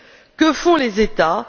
Que font les États?